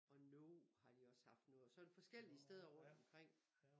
Og No har de også haft noget og sådan forskellige steder rundt omkring